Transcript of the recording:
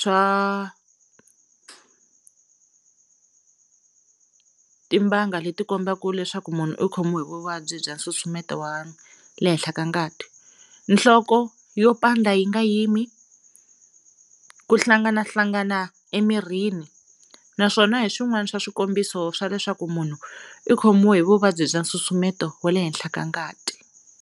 swa timbanga leti kombaka leswaku munhu u khomiwe hi vuvabyi bya nsusumeto wa le henhla wa ngati nhloko yo pandza yi nga yimi, ku hlanganahlangana emirini naswona hi swin'wani swa swikombiso swa leswaku munhu i khomiwe hi vuvabyi bya nsusumeto wa le henhla wa ngati.